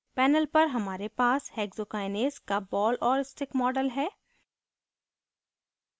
panel पर हमारे पास hexokinase का ball और stick model है